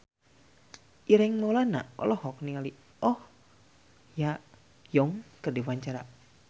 Ireng Maulana olohok ningali Oh Ha Young keur diwawancara